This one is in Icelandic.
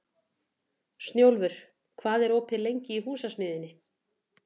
Snjólfur, hvað er opið lengi í Húsasmiðjunni?